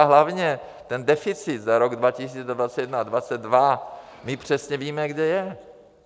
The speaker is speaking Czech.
A hlavně ten deficit za rok 2021 a 2022, my přesně víme, kde je.